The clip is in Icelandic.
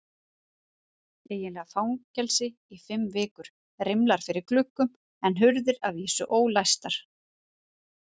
Eiginlega fangelsi í fimm vikur, rimlar fyrir gluggum en hurðir að vísu ólæstar.